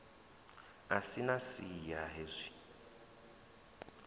a si na siya hezwi